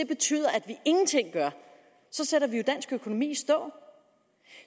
betyder at vi ingenting gør så sætter vi jo dansk økonomi i stå